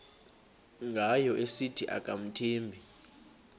ngayo esithi akamthembi